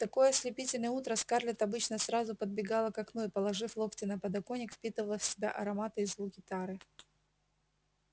в такое ослепительное утро скарлетт обычно сразу подбегала к окну и положив локти на подоконник впитывала в себя ароматы и звуки тары